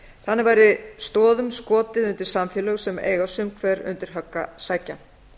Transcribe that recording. þannig væri stoðum skotið undir samfélög sem eiga sum hver undir högg að sækja